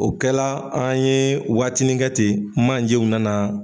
O kɛla an ye waatinin kɛ ten manjew nana.